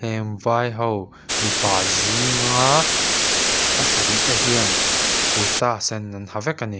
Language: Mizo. vai ho mipa zinga pasarih te hian kurta sen an ha vek a ni.